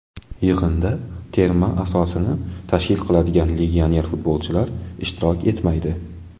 Yig‘inda terma asosini tashkil qiladigan legioner futbolchilar ishtirok etmaydi.